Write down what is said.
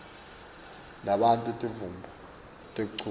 banato timvumo tekuchuba